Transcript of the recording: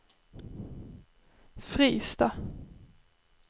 Fristad